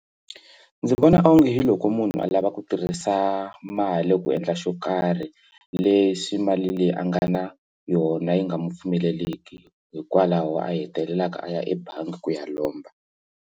Ndzi vona onge hi loko munhu a lava ku tirhisa mali ku endla xo karhi leswi mali leyi a nga na yona yi nga mu pfumeleliki hikwalaho a hetelelaka a ya ebangi ku ya lomba.